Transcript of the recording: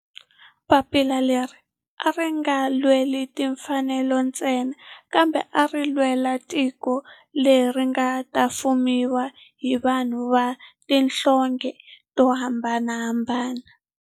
Papila leri a ri nga lweli timfanelo ntsena kambe a ri lwela tiko leri nga ta fumiwa hi vanhu va tihlonge to hambanahambana.